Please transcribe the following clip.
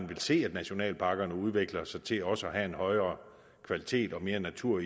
vil se at nationalparkerne udvikler sig til også indholdsmæssigt at have en højere kvalitet og mere natur